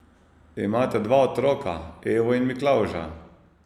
Imate dva otroka, Evo in Miklavža.